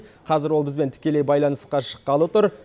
қазір ол бізбен тікелей байланысқа шыққалы тұр